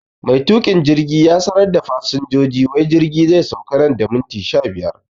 Mai tukin jirgi ya sanar da fasinjoji wai jirgi zai sauka nan da minti sha biyar